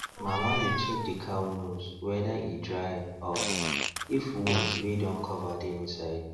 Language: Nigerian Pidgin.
mama dey check the cow nose whether e dry of if wound wey don cover dey inside